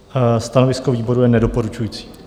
Stanovisko výboru je nedoporučující.